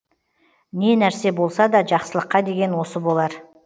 не нәрсе болсада жақсылыққа деген осы болар